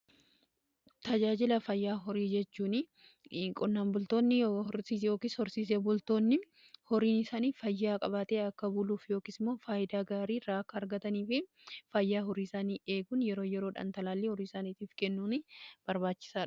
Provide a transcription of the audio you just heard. Tajaajila fayyaa horii jechuu qonnaan bultoonni horsiisni yookis horsiisee loonn horisaanii fayyaa qabaatee akka buluuf yookis immoo faayidaa gaarii akka argatanii fi fayyaa horiisaanii eeguun yeroo yeroodhan talaallii horii isaaniitiif kennuun barbaachisaadha.